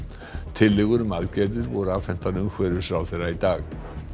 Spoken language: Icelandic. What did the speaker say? tillögur um aðgerðir voru afhentar umhverfisráðherra í dag